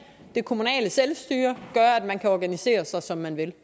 det kommunale selvstyre gør at man kan organisere sig som man vil